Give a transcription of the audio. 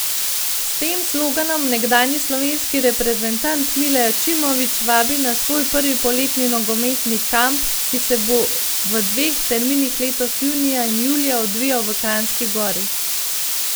S tem sloganom nekdanji slovenski reprezentant Mile Ačimović vabi na svoj prvi poletni nogometni kamp, ki se bo v dveh terminih letos junija in julija odvijal v Kranjski Gori.